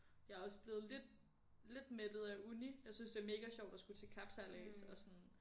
Jeg er også blevet lidt lidt mættet af uni jeg synes det er mega sjovt at skulle til kapsejlads og sådan